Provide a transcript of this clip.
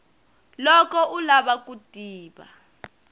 loko u lava ku tiva